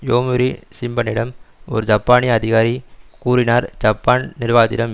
Yomiuri ஷிம்பனிடம் ஒரு ஜப்பானிய அதிகாரி கூறினார் ஜப்பான் நிர்வாகத்திடம்